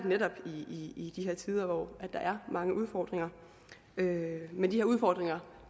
i de her tider hvor der er mange udfordringer men de udfordringer